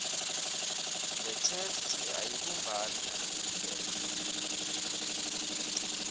yetheksthi ayibumbani nalokucuketfwe